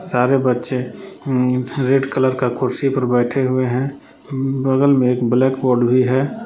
सारे बच्चे हुं रेड कलर का कुर्सी पर बैठे हुए हैं हुं बगल में एक ब्लैक बोर्ड भी है ।